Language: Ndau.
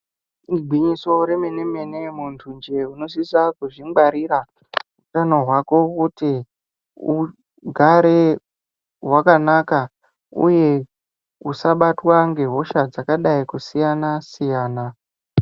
Igwinyiso remene mene muntunje unosise kuzvingwarira utano hwako kuti ugare wakanaka uye usabatwa nehosha dzakadai kusiyana siyana.